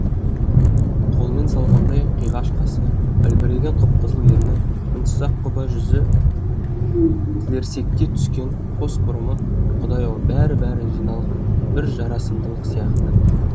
қолмен салғандай қиғаш қасы үлбіреген қып қызыл ерні мінсіз аққұба жүзі тілерсекке түскен қос бұрымы құдай ау бәрі бәрі жиналған бір жарасымдылық сияқты